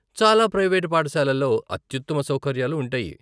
చాలా ప్రైవేటు పాఠశాలలో అత్యుత్తమ సౌకర్యాలు ఉంటాయి.